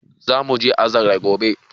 Zamuje azare gobe